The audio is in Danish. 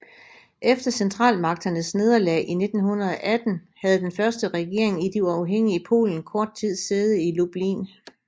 Efter Centralmagternes nederlag i 1918 havde den første regering i det uafhængige Polen kort tid sæde i Lublin